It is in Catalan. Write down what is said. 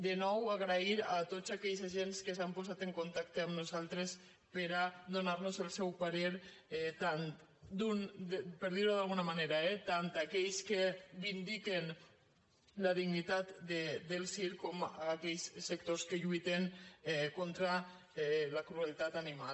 de nou donar les gràcies a tots aquests agents que s’han posat en contacte amb nosaltres per a donar nos el seu parer per dir ho d’alguna manera eh tant aquells que vindiquen la dignitat del circ com aquells sectors que lluiten contra la crueltat animal